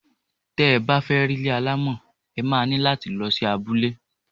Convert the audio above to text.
Tẹ bá fẹ́ rí ilé alámọ̀, ẹ má ní láti lọ sí abule.